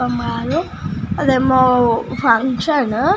హా మమరు అదేమో ఫంక్షన్ .